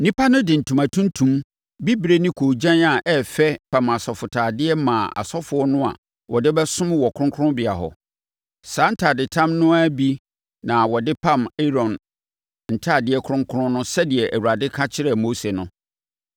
Nnipa no de ntoma tuntum, bibire ne koogyan a ɛyɛ fɛ pam asɔfotadeɛ maa asɔfoɔ no a wɔde bɛsom wɔ kronkronbea hɔ. Saa ntadetam no ara bi na wɔde pam Aaron ntadeɛ kronkron no sɛdeɛ Awurade ka kyerɛɛ Mose no.